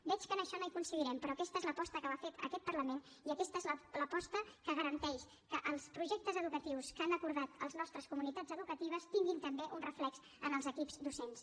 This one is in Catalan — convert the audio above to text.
veig que en això no hi coincidirem però aquesta és l’aposta que ha fet aquest parlament i aquesta és l’aposta que garanteix que els projectes educatius que han acordat les nostres comunitats educatives tinguin també un reflex en els equips docents